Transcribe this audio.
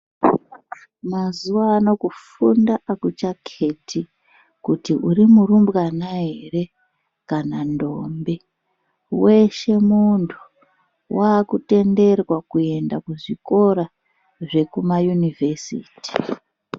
Mazuano kufunda akuchaketi kuti uri murumbwana ere kana ndombi weshe muntu wakutenderwa kuendea kuzvikora zvekuma univhesiti .